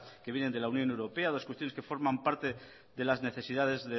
que vienen de la unión europea las cuestiones que forman parte de la necesidades